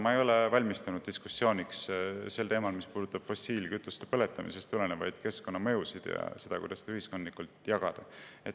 Ma ei ole valmistunud diskussiooniks teemal, mis puudutab fossiilkütuste põletamisest tulenevaid keskkonnamõjusid ja seda, kuidas ühiskondlikult jagada.